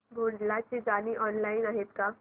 भोंडला ची गाणी ऑनलाइन आहेत का